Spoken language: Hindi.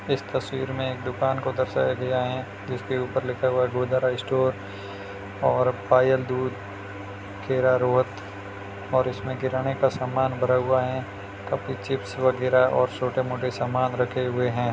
इस तस्वीर में एक दुकान को दर्शाया गया है जिसके ऊपर लिखा हुआ गोदारा स्टोर और पायल दूध खेरा रोहट और इसमें किराने का सामान भरा हुआ है काफी चिप्स वगैरा और छोटे-मोटे सामान रखे हुए हैं।